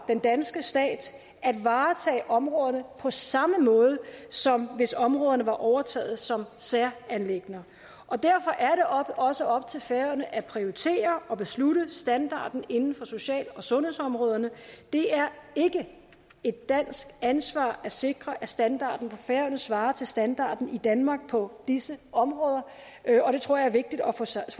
den danske stat at varetage områderne på samme måde som hvis områderne var overtaget som særanliggender derfor er det også op til færøerne at prioritere og bestemme standarden inden for social og sundhedsområderne det er ikke et dansk ansvar at sikre at standarden på færøerne svarer til standarden i danmark på disse områder og det tror jeg er vigtigt at få sagt